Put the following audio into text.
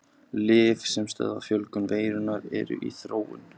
Lyf sem stöðva fjölgun veirunnar eru í þróun.